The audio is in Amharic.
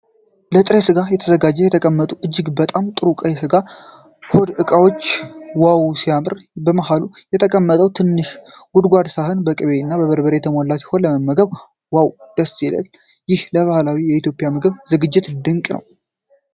ለጥሬ ሥጋ ተዘጋጅተው የተቀመጡት እጅግ በጣም ጥሩ ቀይ ሥጋና ሆድ ዕቃዎች ዋው ሲያምር! በመሃሉ የተቀመጠው ትንሽ ጎድጓዳ ሳህን በቅቤ እና በርበሬ የተሞላ ሲሆን ለመመገብ ዋው ደስ ሲል! ይህም ለባህላዊ የኢትዮጵያ ምግብ ዝግጅት ድንቅ ነው።